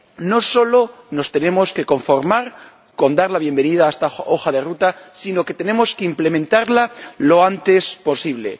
No nos tenemos que conformar solo con dar la bienvenida a esta hoja de ruta, sino que tenemos que implementarla lo antes posible.